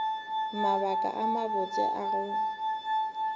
mabaka a mabotse a go